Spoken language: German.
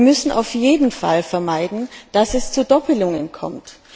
Wir müssen auf jeden Fall vermeiden, dass es zu Doppelungen kommt.